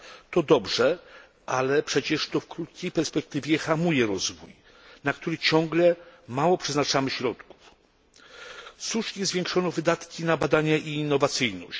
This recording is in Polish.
To dobrze, ale przecież w krótkiej perspektywie hamuje to rozwój, na który ciągle przeznaczamy mało środków. Słusznie zwiększono wydatki na badania i innowacyjność.